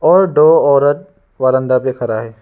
दो औरत वरांदा में खड़ा है।